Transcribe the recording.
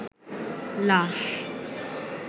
লাশ